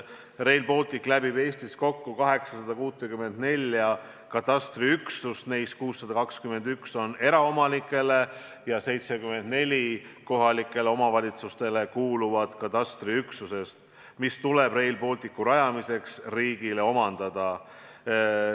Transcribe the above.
Rail Baltic läbib Eestis kokku 864 katastriüksust, neis 621 on eraomanikele ja 74 kohalikele omavalitsustele kuuluvad katastriüksused, mis tuleb Rail Balticu rajamiseks riigil omandada.